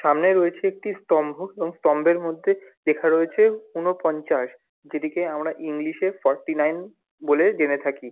সামনে রয়েছে একটি স্তম্ভ এবং স্তম্ভের মধ্যে লেখা রয়েছে ঊনপঞ্চাশ ।যেটিকে আমরা ইংলিশ -এ ফোর্টি -নাইন বলে জেনে থাকি।